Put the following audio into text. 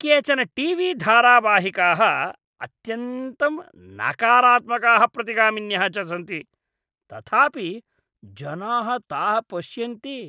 केचन टी.वी.धारावाहिकाः अत्यन्तं नकारात्मकाः प्रतिगामिन्यः च सन्ति, तथापि जनाः ताः पश्यन्ति।